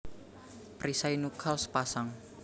Perisai nuchal sepasang